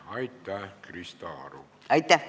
Aitäh, Krista Aru!